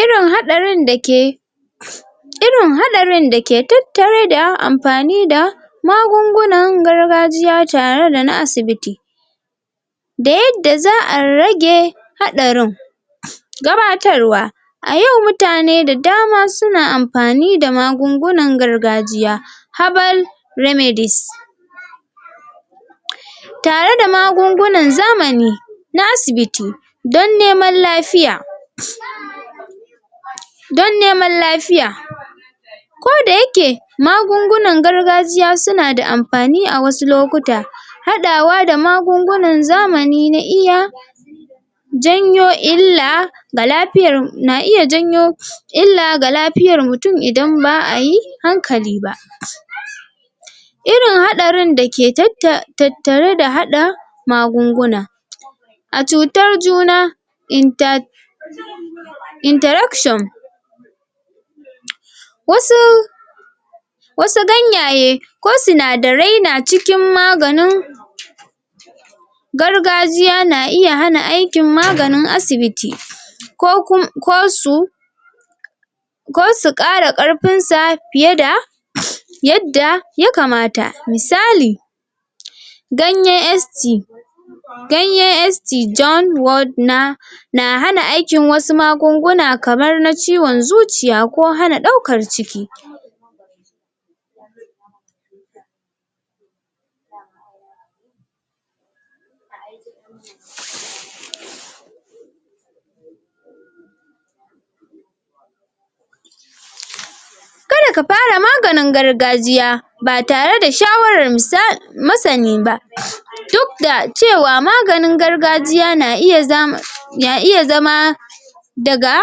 Irin haɗarin da ke irin haɗarin da ke tattare da amfani da magungunan gargajiya tare da na asibiti da yadda za'a rage haɗarin. Gabatarwa; A yau mutane da dama su na amfani da magungunan gargajiya herbal remedies tare da magungunan zamani na asibiti, don neman lafiya, don neman lafiya. Koda ya ke magungunan gargajiya su na da amfani a wasu lokuta, haɗawa da magungunan zamani na iya janyo illa ga lafiyar, na iya janyo illa ga lafiyar mutum idan ba'a yi hankali ba. Irin haɗarin da ke tatta tattare da haɗa magunguna a cutar juna, inter interaction wasu wasu ganyaye ko sinadarai na cikin maganin gargajiya na iya hana aikin maganin asibiti ko kum ko su ko su ƙara ƙarfinsa fiye da yadda ya kamata. Misali ganyen ST ganyen ST john ward na na hana aikin wasu magunguna kamar na zuciya ko hana ɗaukar ciki. Ka da ka fara maganin gargajiya ba tare da shawarar misa masani ba duk da cewa maganin gargajiya na iya zama na iya zama daga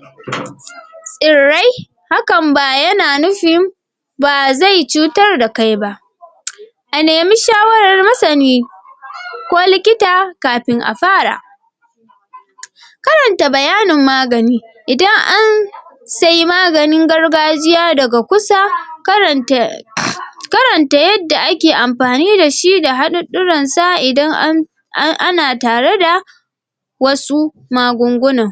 tsirrai hakan ba ya na nufin ba zai cutar da kai ba. A nemi shawarar masani ko likita kafin a fara. Karanta bayanin magani idan an sai maganin gargajiya daga kusa karanta karanta yadda ake amfani da shi da haɗuɗɗuransa idan an an ana tare da wasu magungunan.